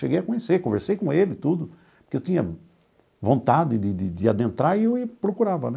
Cheguei a conhecer, conversei com ele e tudo, porque eu tinha vontade de de de adentrar e eu procurava, né?